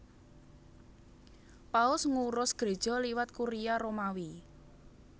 Paus ngurus Gréja liwat Kuria Romawi